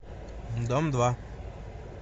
дом два